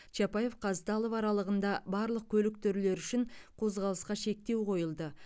чапаев қазталов аралығында барлық көлік түрлері үшін қозғалысқа шектеу қойылды